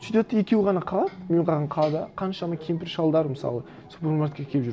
сөйтеді де екеуі ғана қалады мен қалған қалада қаншама кемпір шалдар мысалы супермаркетке келіп жүр